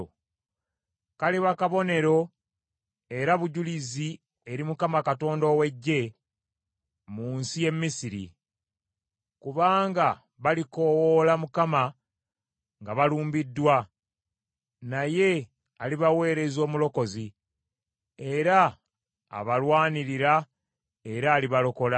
Kaliba kabonero era bujulizi eri Mukama Katonda ow’Eggye mu nsi y’e Misiri. Kubanga balikoowoola Mukama nga balumbiddwa, naye alibaweereza omulokozi, era abalwanirira, era alibalokola.